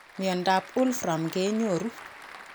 Miondo ap wolfram kenyoru